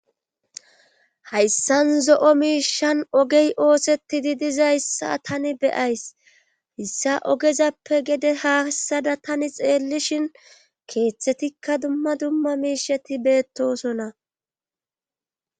hayssan zo7o miishan ogey ooseti di dizayssa tani beyays hissa ogezappe gede haassada tani xeellishin keeththetikka dumma dumma miisheti beettosona